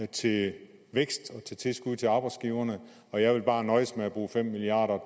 til vækst og til tilskud til arbejdsgiverne og jeg bare vil nøjes med at bruge fem milliard